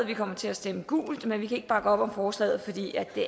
vi kommer til at stemme gult men vi kan ikke bakke op om forslaget fordi det